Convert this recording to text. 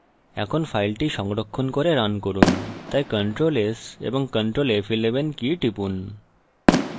এখন file সংরক্ষণ করে রান করুন তাই ctrl & s এবং ctrl & f11 কী টিপুন